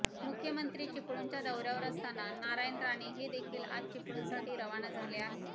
मुख्यमंत्री चिपळूणच्या दौऱ्यावर असताना नारायण राणे हेदेखील आज चिपळूणसाठी रवाना झाले आहेत